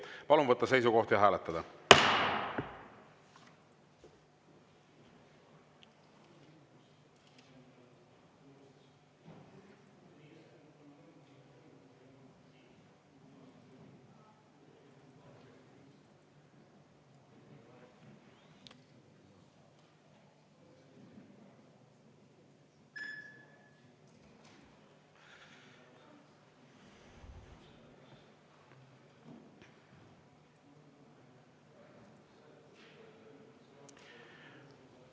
Palun võtta seisukoht ja hääletada!